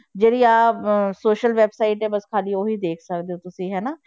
ਜਿਹੜੀ ਆਹ social websites ਹੈ ਬਸ ਖਾਲੀ ਉਹ ਹੀ ਦੇਖ ਸਕਦੇ ਹੋ ਤੁਸੀਂ ਹਨਾ।